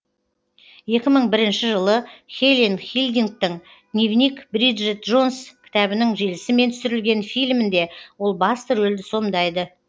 екі мың бірінші жылы хелен филдингтің дневник бриджит джонс кітабының желісімен түсірілген фильмінде ол басты рөлді сомдайды